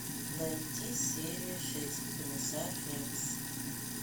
найти серия шесть комиссар рекс